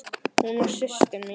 Hún var systir mín.